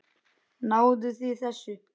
Náðuð þið þessu?